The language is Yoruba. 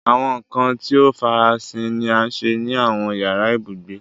Awọn nkan ti o farasin ni a ṣe ni awọn yara ibugbe